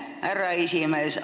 Aitäh, härra esimees!